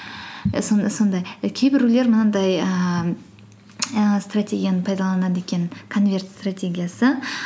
і сондай і кейбіреулер мынандай ііі стратегияны пайдаланады екен конверт стратегиясы